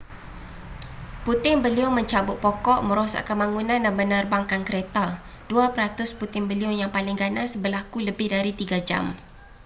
puting beliung mencabut pokok merosakkan bangunan dan menerbangkan kereta dua peratus puting beliung yang paling ganas berlaku lebih dari tiga jam